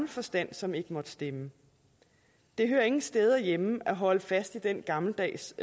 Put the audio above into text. forstand som ikke måtte stemme det hører ingen steder hjemme at holde fast i den gammeldags